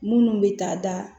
Minnu bɛ taa da